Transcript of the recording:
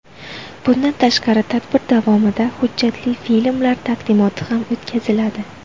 Bundan tashqari tadbir davomida hujjatli filmlar taqdimoti ham o‘tkaziladi.